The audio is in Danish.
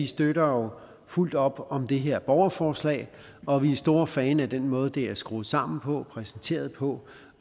støtter fuldt op om det her borgerforslag og vi er store fan af den måde det er skruet sammen på og præsenteret på